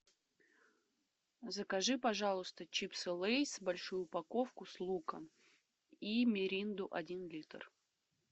закажи пожалуйста чипсы лейс большую упаковку с луком и миринду один литр